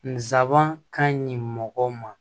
Nsaban ka ɲi mɔgɔ ma